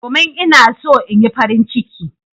Domin ina so in Yi farin ciki.